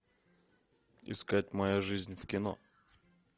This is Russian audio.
искать моя жизнь в кино